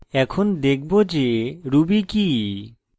এখন দেখব যে ruby কি